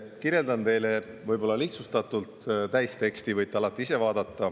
Kirjeldan teile võib-olla lihtsustatult, täisteksti võite alati ise vaadata.